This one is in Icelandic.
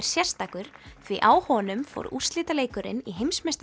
sérstakur því á honum fór úrslitaleikurinn í